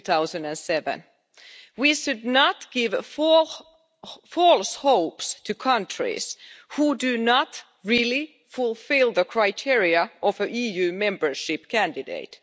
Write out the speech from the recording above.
2007. We should not give false hope to countries who do not really fulfil the criteria of an EU membership candidate.